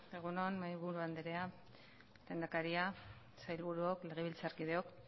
egun on mahaiburu andrea lehendakaria sailburuok legebiltzarkideok